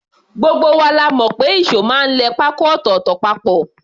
Gbogbo wa la mọ̀ pé ìṣó máa ń lẹ pákó ọ̀tọ̀ọ̀tọ̀ papọ̀